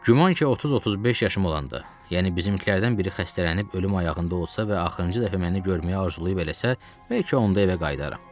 Güman ki, 30-35 yaşım olanda, yəni bizimkilərdən biri xəstələnib ölüm ayağında olsa və axırıncı dəfə məni görməyə arzulayıb eləsə, bəlkə onda evə qayıdaram.